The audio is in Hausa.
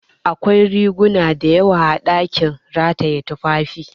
Akwai riguna dayawa a ɗakin rataye tufafi